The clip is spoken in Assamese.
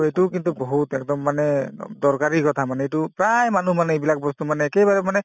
এইটোও কিন্তু বহুত একদম মানে দৰকাৰী কথা মানে এইটো প্ৰায় মানুহ মানে এইবিলাক বস্তু মানে একেবাৰে মানে